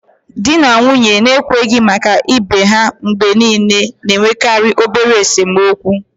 Di na nwunye na-ekwenye maka ibe ha mgbe niile na-enwekarị obere esemokwu